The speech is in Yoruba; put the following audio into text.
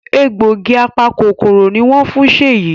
Egbògi apa-kòkòrò ní wón fún Sheyi.